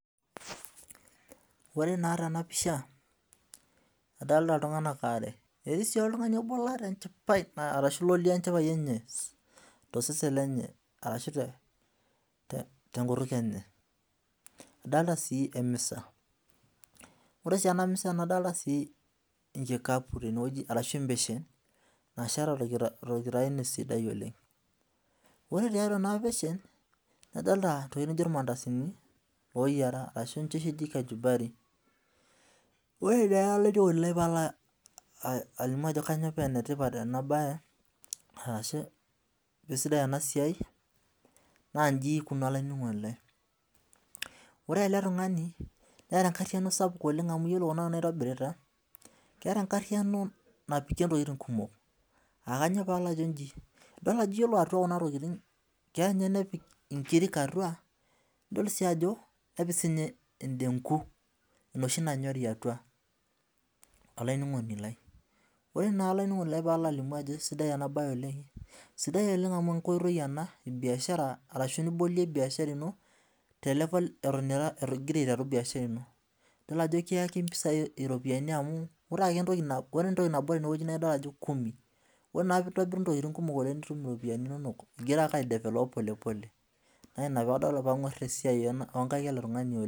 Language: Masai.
Ore naa tena pisha, adolta iltunganak are, etii sii oltungani latejo, lolioo enchipai enye, tosesen lenye ashu tenkutuk enye. adolta sii emisa. ore sii ena misa nadolita sii enkikapu tene wueji arashu ebeshen. nasheta torkitayunyet sidai oleng. ore tiatau ena beshem adolta irmandasini ooyiera ashu ninche oshi eji kashumpari. ore naa nalimu ajo kainyioo paa ene tipat ena bae, ashu kisidai ena siai. naa iji ikununo. ore ele tungani neeta enkariyiano sapuk oleng. amu iyiolo Kuna tokitin naitobiraita. keeta enkariyiano napikie ntokitin kumok.aa kainyioo pee alo ajo iji. idol. Ajo ore etau Kuna wuejitin keya ninye nepik inkirik. atua idol sii ajo nepik sii ninye edenku enoshi nanyorii atua. olaininingoni lai. sidai amu nkoitoi ebiashara ena niboliei biashara ino nitum iropiyiani inonok.